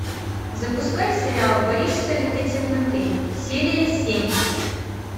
запускай сериал боишься ли ты темноты серия семь